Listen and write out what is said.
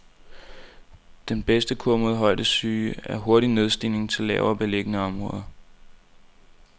Den bedste kur mod højdesyge er hurtig nedstigning til lavere beliggende område.